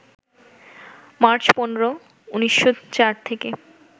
March ১৫, ১৯০৪ থেকে